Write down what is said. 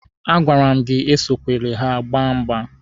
A gwara m gị esokwere ha agba mgba!